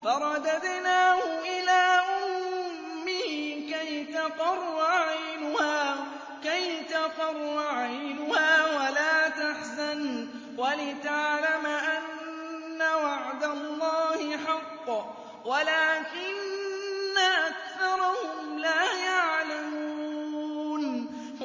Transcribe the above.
فَرَدَدْنَاهُ إِلَىٰ أُمِّهِ كَيْ تَقَرَّ عَيْنُهَا وَلَا تَحْزَنَ وَلِتَعْلَمَ أَنَّ وَعْدَ اللَّهِ حَقٌّ وَلَٰكِنَّ أَكْثَرَهُمْ لَا يَعْلَمُونَ